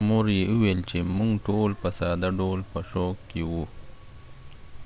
مور یې وویل چې موږ ټول په ساده ډول په شوک کې وو.